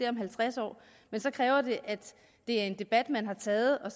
om halvtreds år så kræver det at det er en debat man har taget og